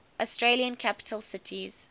australian capital cities